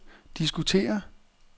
diskutere